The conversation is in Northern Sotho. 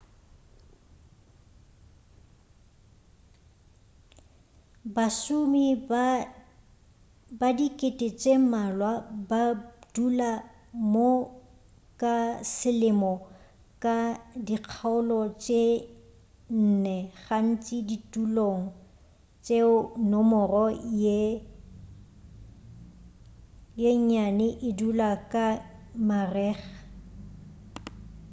bašomi ba dikete tše mmalwa ba dula mo ka selemo ka dikgaolo tše nne gantši ditulong tšeo nomoro ye nnyane e dula ka marega